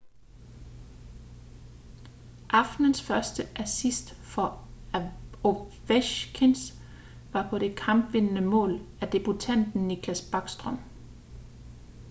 aftenens første assist for ovechkins var på det kampvindende mål af debutanten nicklas backstrom